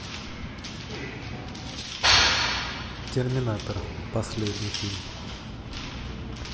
терминатор последний фильм